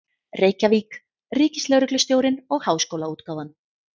Reykjavík: Ríkislögreglustjórinn og Háskólaútgáfan.